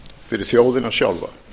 fyrir þjóðina sjálfa